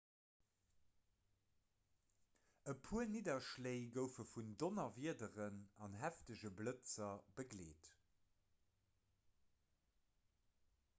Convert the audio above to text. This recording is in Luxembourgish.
e puer nidderschléi goufe vun donnerwiederen an heefege blëtzer begleet